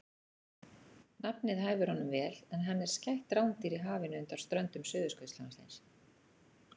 Nafnið hæfir honum vel en hann er skætt rándýr í hafinu undan ströndum Suðurskautslandsins.